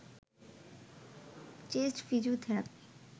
chest physiotherapy